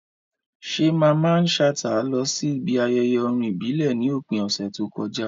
Ṣé Mamman Shata lọ síbi ayẹyẹ orin ìbílẹ̀ ní òpin ọ̀sẹ̀ tó kọjá?